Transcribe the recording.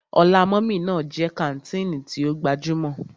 Ọlá mummy ná jẹ́ kàńtìnì tí ó gbajúmọ̀.